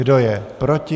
Kdo je proti?